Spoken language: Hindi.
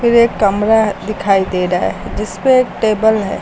एक कमरा दिखाई दे रहा है जिसपे एक टेबल है।